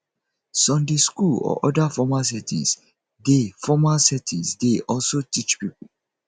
sunday school or oda formal settings dey formal settings dey also teach pipo